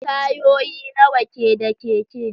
Tayoyi nawa ke da keke?